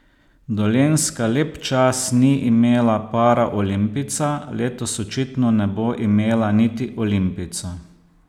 Dolenjska lep čas ni imela paraolimpijca, letos očitno ne bo imela niti olimpijca.